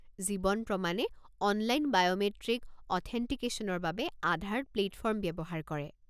জীৱন প্ৰমাণে online biometric অথেণ্টিকেশ্যনৰ বাবে আধাৰ প্লে'টফৰ্ম ব্যৱহাৰ কৰে।